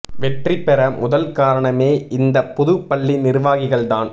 வெற்றி பெற முதல் காரணமே இந்த புது பள்ளி நிர்வாகிகள் தான்